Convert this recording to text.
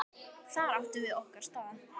Þar áttum við okkar stað.